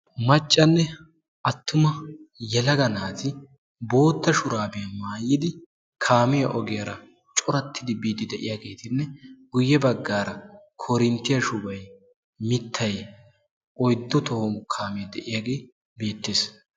Macanne atumma yelaga naati kaamiya ogiyara bootta shurabbiya maayiddi boosonna. Etta matan shuchchay beetes.